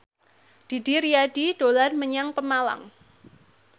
Didi Riyadi dolan menyang Pemalang